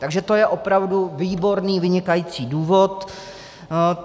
Takže to je opravdu výborný, vynikající důvod.